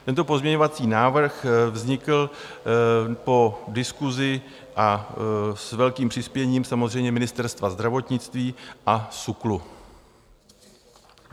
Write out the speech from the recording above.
Tento pozměňovací návrh vznikl po diskusi a s velkým přispěním samozřejmě Ministerstva zdravotnictví a SÚKLu.